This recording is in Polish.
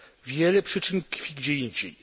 Wiele przyczyn tkwi gdzie indziej.